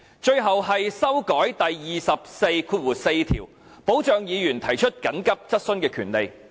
最後，是修訂《議事規則》第244條，以保障議員提出急切質詢的權利。